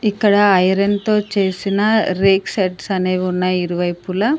ఇక్కడ ఐరన్ తో చేసిన రేక్ షేడ్స్ అనేవి ఉన్నాయి ఇరువైపుల.